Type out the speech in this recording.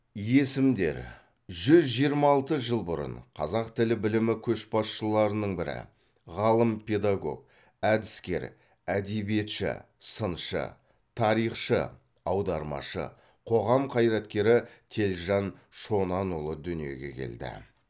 есімдер жүз жиырма алты жыл бұрын қазақ тіл білімі көшбасшыларының бірі ғалым педагог әдіскер әдебиетші сыншы тарихшы аудармашы қоғам қайраткері телжан шонанұлы дүниеге келді